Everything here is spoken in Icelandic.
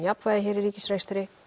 jafnvægi hér í ríkisrekstri